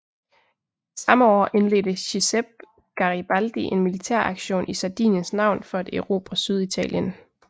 Samme år indledte Giuseppe Garibaldi en militæraktion i Sardiniens navn for at erobre Syditalien